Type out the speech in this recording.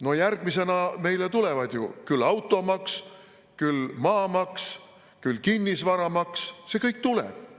No järgmisena meile tulevad ju küll automaks, küll maamaks, küll kinnisvaramaks – see kõik tuleb.